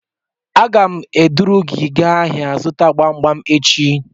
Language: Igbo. Aga m eduru gị gaa ahịa zụta gbam gbam echi